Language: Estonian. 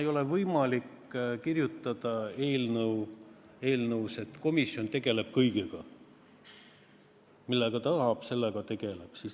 Ei ole ju võimalik kirjutada eelnõus, et komisjon tegeleb kõigega, millega tahab.